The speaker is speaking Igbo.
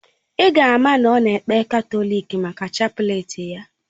Ì ga ama na ọ na ekpe katọlik maka chapleti ya.